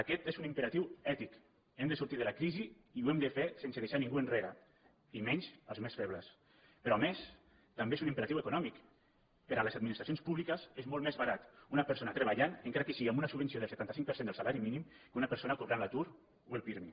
aquest és un imperatiu ètic hem de sortir de la crisi i ho hem de fer sense deixar ningú enrere i menys els més febles però a més també és un im·peratiu econòmic per a les administracions publiques és molt més barat una persona treballant encara que sigui amb una subvenció del setanta cinc per cent del salari mí·nim que una persona cobrant l’atur o el pirmi